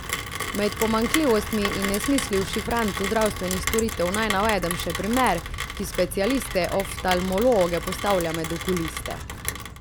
Med pomanjkljivostmi in nesmisli v šifrantu zdravstvenih storitev naj navedem še primer, ki specialiste oftalmologe postavlja med okuliste.